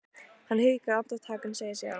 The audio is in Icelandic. Hann hikar andartak en segir síðan